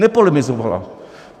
Nepolemizovala.